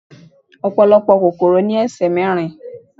Ọ̀pọ̀lọpọ̀ kòkòrò ní ẹsẹ̀ mẹ́rin